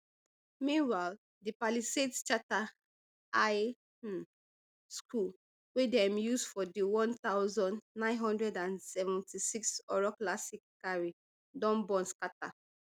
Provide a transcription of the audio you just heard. meanwhile di palisades charter high um school wey dem use for di one thousand, nine hundred and seventy-six horror classic carrie don burn scata